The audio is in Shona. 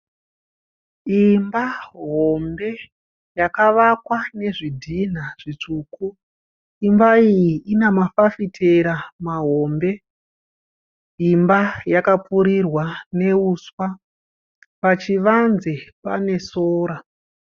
Imba hombe yakavakwa nezvidhinha zvitsvuku. Imba iyi ine mafafitera mahombe. Imba yakapfurirwa nehuswa , pachivanze pane sora.